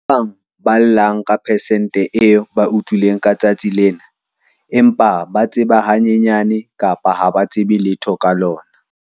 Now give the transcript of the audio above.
Ba bang ba ballwang persenteng eo ba utlwile ka letsatsi lena empa ba tseba hanyenyane kapa ha ba tsebe letho ka lona.